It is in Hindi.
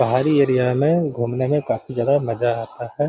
पहाड़ी एरिया में घूमने में काफी जादा